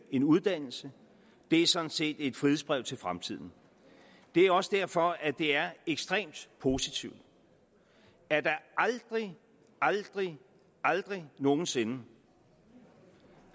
en uddannelse det er sådan set et frihedsbrev til fremtiden det er også derfor det er ekstremt positivt at der aldrig aldrig aldrig nogen sinde